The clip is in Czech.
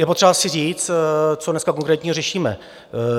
Je potřeba si říct, co dneska konkrétně řešíme.